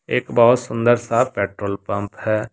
एक बहोत सुंदर सा पेट्रोल पंप है।